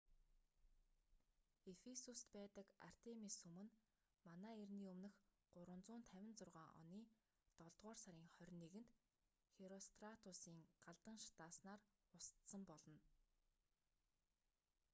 ефисуст байдаг артемис сүм нь мэө 356 оны долдугаар сарын 21-нд херостратусийн галдан шатаасанаар устсан болно